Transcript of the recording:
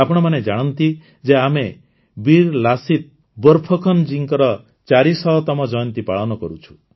ଆପଣମାନେ ଜାଣନ୍ତି ଯେ ଆମେ ବୀର ଲାସିତ ବୋରଫକନ ଜୀଙ୍କର ଚାରିଶହତମ ଜୟନ୍ତୀ ପାଳନ କରୁଛୁ